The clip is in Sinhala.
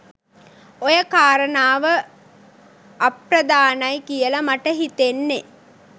ඔය කාරණාව අප්‍රධානයි කියල මට හිතෙන්නෙ.